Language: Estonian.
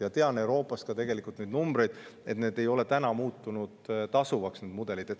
Ja tean Euroopast ka neid numbreid, tegelikult need ei ole tänaseks tasuvamaks muutunud.